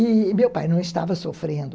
E meu pai não estava sofrendo.